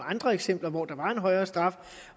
andre eksempler hvor der var en højere straf